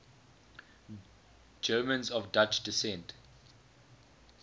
germans of dutch descent